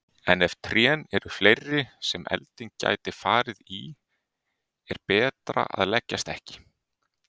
En ef trén eru fleiri sem elding gæti farið í er betra að leggjast ekki.